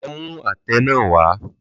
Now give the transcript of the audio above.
Lọ mú àtẹ náà wá!